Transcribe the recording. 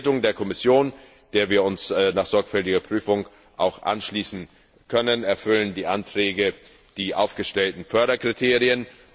Nach den Bewertungen der Kommission, denen wir uns nach sorgfältiger Prüfung auch anschließen können, erfüllen die Anträge die aufgestellten Förderkriterien.